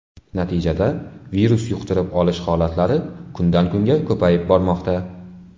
Natijada virus yuqtirib olish holatlari kundan kunga ko‘payib bormoqda.